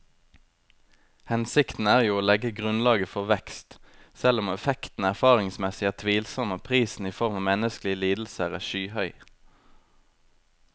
Hensikten er jo å legge grunnlaget for vekst, selv om effekten erfaringsmessig er tvilsom og prisen i form av menneskelige lidelser er skyhøy.